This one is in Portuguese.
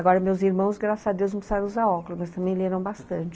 Agora meus irmãos, graças a Deus, não precisaram usar óculos, mas também leram bastante.